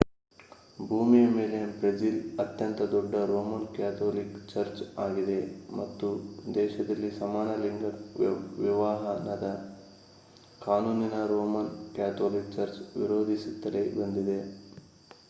ಭೂಮಿಯ ಮೇಲೆ ಬ್ರೆಜಿಲ್ ಅತ್ಯಂತ ದೊಡ್ಡ ರೋಮನ್ ಕ್ಯಾಥೋಲಿಕ್ ಚರ್ಚ್ ಆಗಿದೆ ಮತ್ತು ದೇಶದಲ್ಲಿ ಸಮಾನ ಲಿಂಗ ವಿವಾಹನದ ಕಾನೂನಿಗೆ ರೋಮನ್ ಕ್ಯಾಥೋಲಿಕ್ ಚರ್ಚ್ ವಿರೋಧಿಸುತ್ತಲೇ ಬಂದಿದೆ